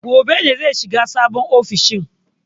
Gobe ne zai shiga sabon ofishin.